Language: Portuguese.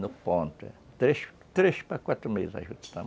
No ponto, é. Três três para quatro meses a juta, tá